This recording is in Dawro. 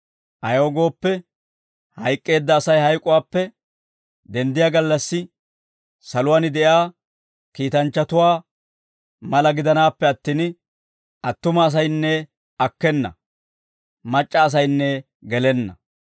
Ayaw gooppe, hayk'k'eedda Asay hayk'uwaappe denddiyaa gallassi, saluwaan de'iyaa kiitanchchatuwaa mala gidanaappe attin, attuma asaynne akkena; mac'c'a asaynne gelenna.